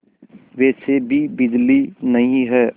वैसे भी बिजली नहीं है